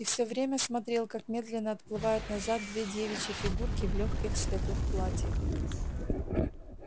и все время смотрел как медленно отплывают назад две девичьи фигурки в лёгких светлых платьях